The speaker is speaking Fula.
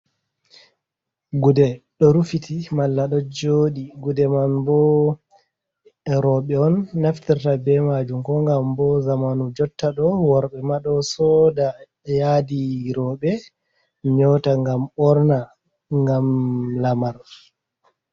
Gude ɗo rufiti malla do jodi, gude man bo roɓe on naftirta be majum, ko gam bo zamanu jotta ɗo worɓe ma ɗo soda yadi roɓe nyota gam ɓorna gam lamar.